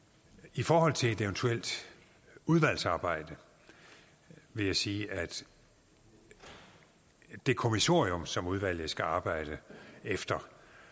i forhold til et eventuelt udvalgsarbejde vil jeg sige at det kommissorium som udvalget skal arbejde efter